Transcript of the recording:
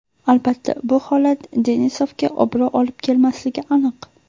Albatta bu holat Denisovga obro‘ olib kelmasligi aniq.